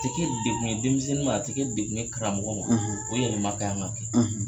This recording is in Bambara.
A tɛ kɛ degun ye denmisɛnnin ma, a tɛ degun ye karamɔgɔ ma , o yɛlɛma kan ka kɛ